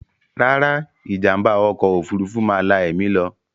Rárá, ìjàm̀bá ọkọ̀ òfurufú máa la ẹ̀mí lọ.